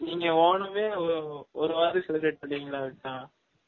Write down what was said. நீங்க Onam ஏ ஒரு வாரம் celebrate பன்வீங்கலா அப்டீனா